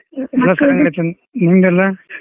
ನಿಮ್ದ್ ಎಲ್ಲಾ .